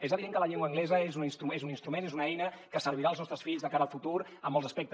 és evident que la llengua anglesa és un instrument és una eina que servirà als nostres fills de cara al futur en molts aspectes